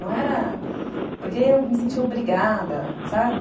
Não era... Porque eu me sentia obrigada, sabe?